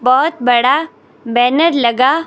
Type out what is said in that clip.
बहुत बड़ा बैनर लगा--